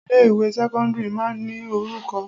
Ilé ìwé sẹ́kọ́ńdírì máa ń ní orúkọ.